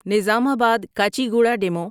Nizamabad Kacheguda demo